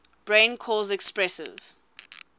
brain cause expressive